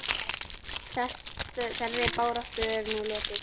Þeirri baráttu er nú lokið.